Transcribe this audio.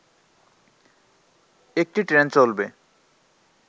একটি ট্রেন চলবে